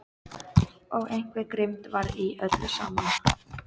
Og einhver grimmd var í öllu saman.